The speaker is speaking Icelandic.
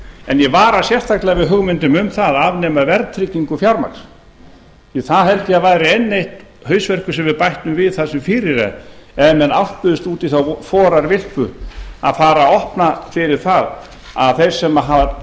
en ég vara sérstaklega við hugmyndum um að afnema verðtryggingu fjármagns því að það held ég að væri enn einn hausverkur sem við bættum við það sem fyrir er ef menn álpuðust út í þá forarvilpu að fara að opna fyrir það að þeir sem hafa